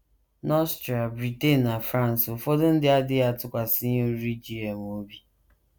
N’Austria, Britain, na France, ụfọdụ ndị adịghị atụkwasị ihe oriri GM obi.